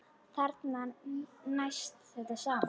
Þarna næst þetta saman.